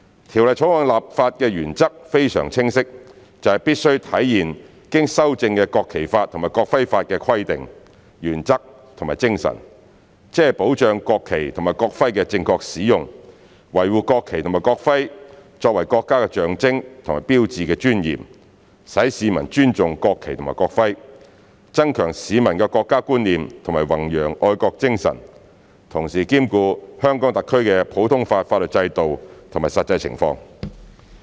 《條例草案》的立法原則非常清晰，就是必須體現經修正的《國旗法》及《國徽法》的規定、原則和精神，即保障國旗及國徽的正確使用，維護國旗及國徽作為國家的象徵和標誌的尊嚴，使市民尊重國旗及國徽，增強市民的國家觀念和弘揚愛國精神，同時兼顧香港特區的普通法法律制度及實際情況。